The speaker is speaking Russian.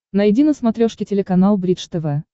найди на смотрешке телеканал бридж тв